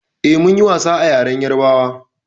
Eh, mun yi wasan a ƴaren ƴarbawa.